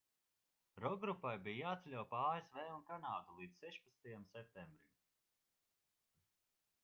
rokgrupai bija jāceļo pa asv un kanādu līdz 16. septembrim